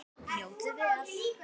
Njótið vel.